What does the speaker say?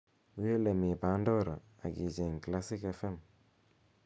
wii olemi pandora ak icheng' classic f.m